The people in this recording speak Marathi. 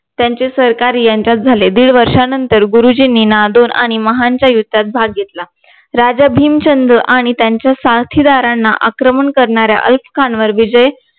त्यांचे सरकार यांच्यात झाले दीड वर्षानंतर गुरुजींनी नादोर आणि महाडच्या युद्धात भाग घेतला राजा भीम चंद्र आणि त्यांच्या साथीदारांना आक्रमण करणाऱ्या खान वर विजय